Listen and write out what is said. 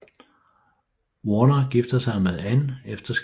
Warner giftede sig med Ann efter skilsmissen